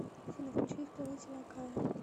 афина включи исполнителя кая